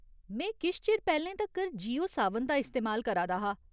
में किश चिर पैह्‌लें तक्कर जियो सावन दा इस्तेमाल करा दा हा।